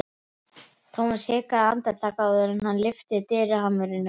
Thomas hikaði andartak áður en hann lyfti dyrahamrinum.